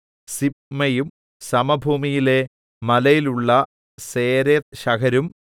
സിബ്മയും സമഭൂമിയിലെ മലയിലുള്ള സേരെത്ത്ശഹരും